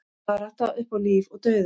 Barátta upp á líf og dauða